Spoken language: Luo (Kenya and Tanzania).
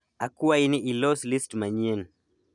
akwai ni ilos list manyien